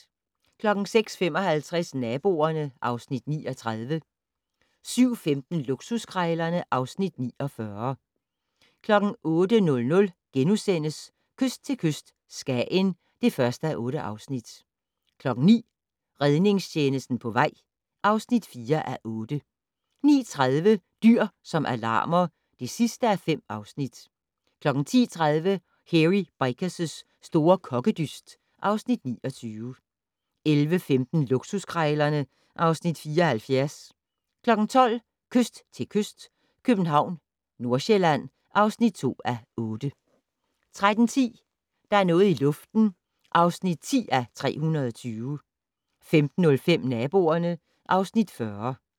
06:55: Naboerne (Afs. 39) 07:15: Luksuskrejlerne (Afs. 49) 08:00: Kyst til kyst - Skagen (1:8)* 09:00: Redningstjenesten på vej (4:8) 09:30: Dyr som alarmer (5:5) 10:30: Hairy Bikers' store kokkedyst (Afs. 29) 11:15: Luksuskrejlerne (Afs. 74) 12:00: Kyst til kyst - København/Nordsjælland (2:8) 13:10: Der er noget i luften (10:320) 15:05: Naboerne (Afs. 40)